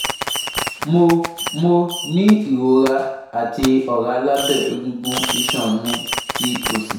Mo Mo ni irora ati ọra labẹ egungun iṣan mi ti osi